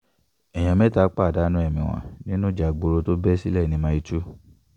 èèyàn mẹ́ta pàdánù ẹ̀mí wọn nínú ìjà ìgboro tó bẹ́ sílẹ̀ ní mílẹ̀ 2